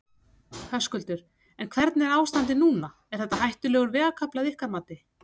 Höskuldur: En hvernig er ástandið núna, er þetta hættulegur vegakafli að ykkar mati?